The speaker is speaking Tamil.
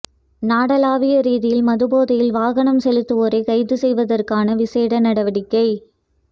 நாடளாவிய ரீதியில் மது போதையில் வாகனம் செலுத்துவோரை கைது செய்வதற்கான விசேட நடவடிக்கை